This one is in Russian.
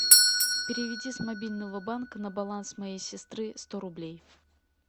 переведи с мобильного банка на баланс моей сестры сто рублей